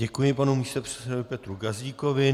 Děkuji panu místopředsedovi Petru Gazdíkovi.